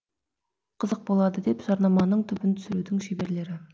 қызық болады деп жарнаманың түбін түсірудің шеберлері